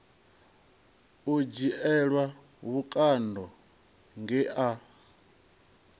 u dzhielwa vhukando nge a